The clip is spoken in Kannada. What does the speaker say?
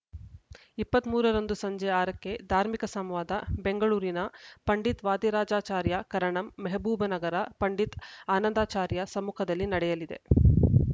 ಇಪ್ಪತ್ತ್ ಮೂರ ರಂದು ಸಂಜೆ ಆರ ಕ್ಕೆ ಧಾರ್ಮಿಕ ಸಂವಾದ ಬೆಂಗಳೂರಿನ ಪಂಡಿತ್ ವಾದಿರಾಜಾಚಾರ್ಯ ಕರಣಂ ಮೆಹಬೂಬನಗರ ಪಂಡಿತ್ ಆನಂದಾರ್ಚಾರ್ಯ ಸಮ್ಮುಖದಲ್ಲಿ ನಡೆಯಲಿದೆ